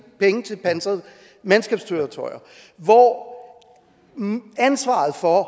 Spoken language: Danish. penge til pansrede mandskabskøretøjer hvor ansvaret for